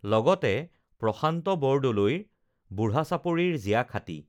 লগতে প্ৰশান্ত বৰদলৈৰ বুঢ়া চাপৰিৰ জিয়াখাঁতী